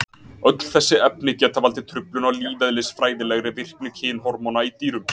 Öll þessi efni geta valdið truflun á lífeðlisfræðilegri virkni kynhormóna í dýrum.